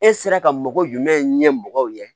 E sera ka mɔgɔ jumɛn ɲɛmɔgɔw ye